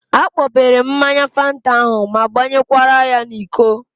A kpọpere m ya mmanya Fanta ahụ ma gbanyekwara ya n'iko